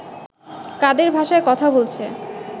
কাদের ভাষায় কথা বলছে